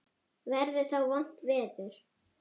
Verður þá vont veður?